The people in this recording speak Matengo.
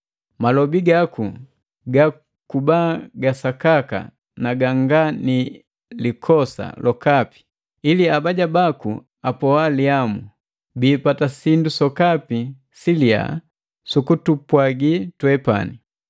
Malobi gaku gakuba gasakaka na ganga ni likosa lokapi ili abaja baku apoalihamu, biipata sindu sokapi siliya su kutupwagi twepani.